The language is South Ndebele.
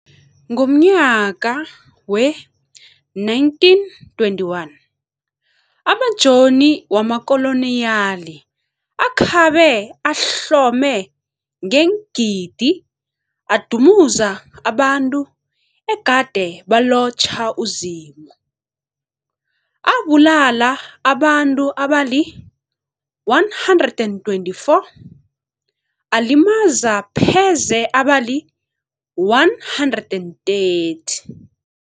Ngomnyaka we-1921, amajoni wamakoloniyali akhabe ahlome ngengidi adumuza abantu egade balotjha uZimu, abulala abantu abali-124, alimaza pheze abali-130.